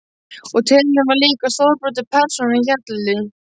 Og tilefnið var álíka stórbrotið og persónan Hjalli.